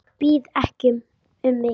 Ég bið ekki um mikið.